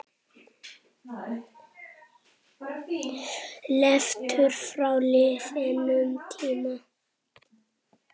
Leiftur frá liðnum tíma.